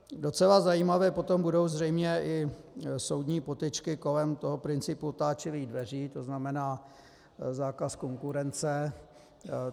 Docela zajímavé potom budou zřejmě i soudní potyčky kolem toho principu otáčivých dveří, to znamená zákaz konkurence.